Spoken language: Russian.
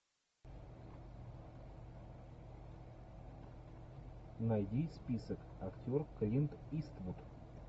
найди список актер клинт иствуд